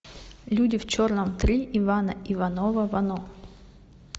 люди в черном три ивана иванова вано